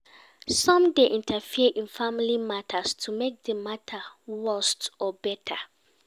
Some dey interfere in family matters to make di matter worst or better